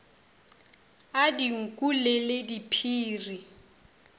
a dinku le le diphiri